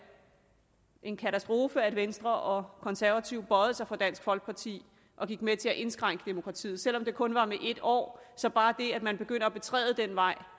en katastrofe at venstre og konservative bøjede sig for dansk folkeparti og gik med til at indskrænke demokratiet selv om det kun var med en år bare det at man begynder at betræde den vej